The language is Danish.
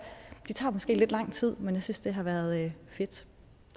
det har måske taget lidt lang tid men jeg synes det har været fedt